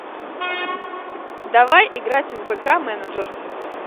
давай играть в вк менеджер